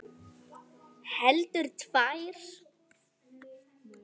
Heldur tvær.